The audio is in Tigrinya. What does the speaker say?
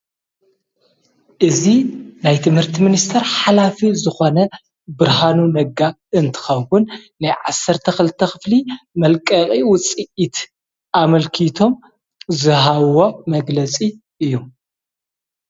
እዙ ናይ ትምህርቲ ምንስተር ሓላፊ ዝኾነ ብርሃኑ ነጋ እንትኸውን ናይ ዓሠርተ ኽልተ ኽፍሊ መልቀዕ ውጽኢት ኣመልኪቶም ዝሃዎ መግለጺ እዩ።